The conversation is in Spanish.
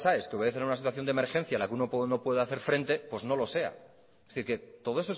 aes que obedecen a una situación de emergencia en la que uno puede o no puede hacer frente pues no lo sea es decir que todo